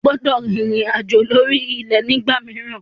O gbọdọ̀ rìnrìn àjò lórí ilẹ̀ ní ìgbà mìíràn.